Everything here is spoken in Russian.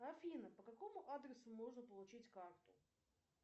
афина по какому адресу можно получить карту